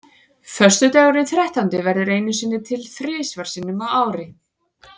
Föstudagurinn þrettándi verður einu sinni til þrisvar sinnum á ári.